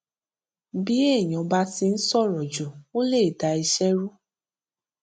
bí èèyàn bá ti ń sọrọ jù ó lè dá iṣẹ rú